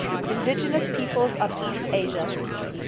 indigenous peoples of east asia